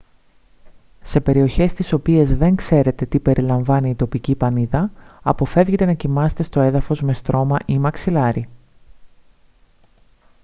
σε περιοχές στις οποίες δεν ξέρετε τι περιλαμβάνει η τοπική πανίδα αποφεύγετε να κοιμάστε στο έδαφος με στρώμα ή μαξιλάρι